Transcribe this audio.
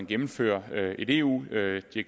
gennemføre et eu direktiv